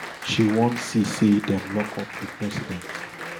she wan see say dem lock up di president